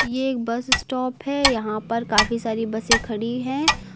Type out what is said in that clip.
ये एक bus stop है यहां पर काफी सारी बसें खड़ी है।